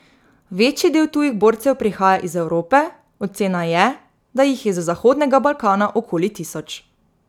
Večji del tujih borcev prihaja iz Evrope, ocena je, da jih je z zahodnega Balkana okoli tisoč.